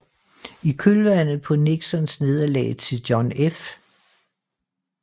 I kølvandet på Nixons nederlag til John F